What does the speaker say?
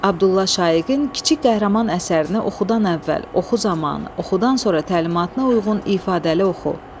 Abdulla Şaiqin kiçik qəhrəman əsərini oxudan əvvəl, oxu zamanı, oxudan sonra təlimatına uyğun ifadəli oxu.